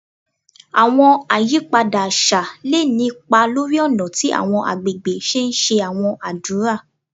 Àwọn àyípadà àṣà lè ní ipa lórí ọ̀nà tí àwọn àgbègbè ṣe ńṣe àwọn ádùrá